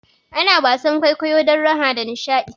Ana wasan kwaikwayo don raha da nishaɗi